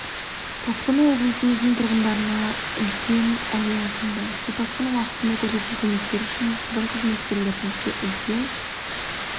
тасқыны облысымыздың тұрғындарына үлкен әлек әкелді су тасқыны уақытында көрсеткен көмектері үшін сіздің қызметкерлеріңізге үлкен